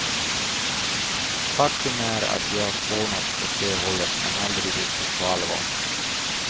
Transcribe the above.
Faktum är att vi har spånat åt det hållet, men aldrig riktigt på allvar.